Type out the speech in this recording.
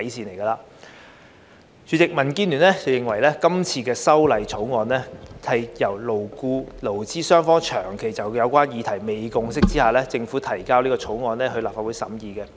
代理主席，民建聯認為，這項《條例草案》是在勞資雙方長期就有關議題未有共識下，政府自行提交給立法會審議的。